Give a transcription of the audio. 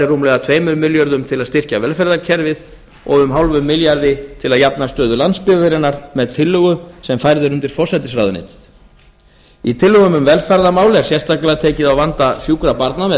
rúmlega tveimur milljörðum króna til að styrkja velferðarkerfið og hálfum milljarði króna til að bæta stöðu landsbyggðarinnar með tillögu sem færð er undir forsætisráðuneytið í tillögum um velferðarmál er sérstaklega tekið á vanda sjúkra barna með